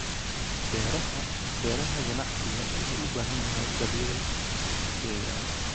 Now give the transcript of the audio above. Beeraha Beeraha Ganacsiga wuxuu u baahan yahay daryeel deegaan.